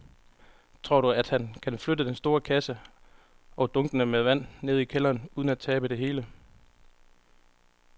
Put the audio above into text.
Tror du, at han kan flytte den store kasse og dunkene med vand ned i kælderen uden at tabe det hele?